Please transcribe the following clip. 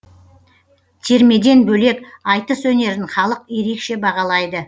термеден бөлек айтыс өнерін халық ерекше бағалайды